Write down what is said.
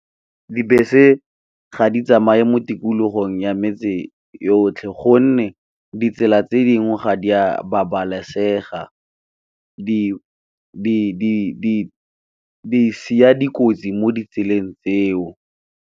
Dibese ga di tsamaye mo tikologong ya metse yotlhe gonne, ditsela tse dingwe ga di a babalesega di siya dikotsi mo ditseleng tseo.